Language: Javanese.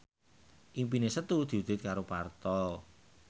impine Setu diwujudke karo Parto